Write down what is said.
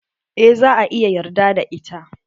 Eh za a iya yarda da ita.